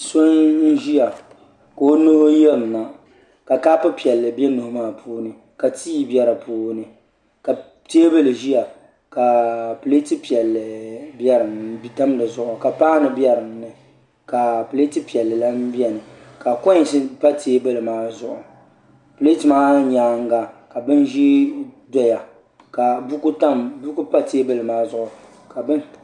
So n ʒiya ka o nuhi yirina ka kaapu piɛlli bɛ nuho maa puuni ka tii bɛ di puuni ka teebuli ʒiya ka pileeti piɛlli tam di zuɣu ka paanu bɛ dinni ka pileet piɛlli lahi biɛni ka koins pa teebuli maa zuɣu pileet maa nyaanga ka bin ʒiɛ ʒɛya ka buku pa teebuli maa zuɣu